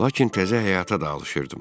Lakin təzə həyata da alışdım.